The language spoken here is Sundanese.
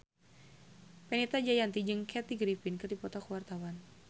Fenita Jayanti jeung Kathy Griffin keur dipoto ku wartawan